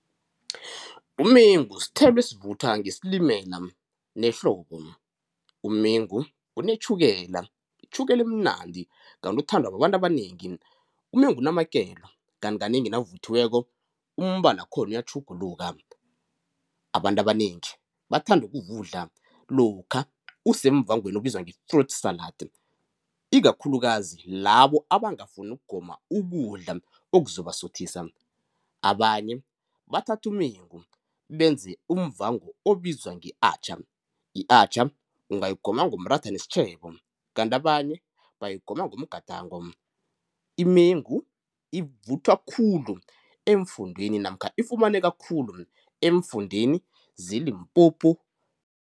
Umengu sithelo esivuthwa ngesilimela nehlobo, umengu unetjhukela, itjhukela emnandi kanti uthandwa babantu abanengi. Umengu unamakelo kanti kanengi nawuvuthiweko umbala wakhona uyatjhuguluka. Abantu abanengi bathanda ukuwudla lokha usemvangweni obizwa nge-fruit salad ikakhulukazi labo abangafuni ukugoma ukudla okuzobasuthisa, abanye bathathumengu benze umvango obizwa nge-atjha, i-atjha ungayigoma ngomratha nesitjhebo. Kanti abanye bayigoma ngomgadango. Imengu ivuthwa khulu eemfundeni namkha ifumaneka khulu eemfundeni zeLimpopo